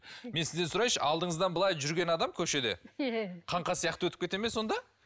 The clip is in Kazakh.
мен сізден сұрайыншы алдыңыздан былай жүрген адам көшеде иә қаңқа сияқты өтіп кете ме сонда